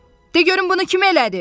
De görüm bunu kim elədi?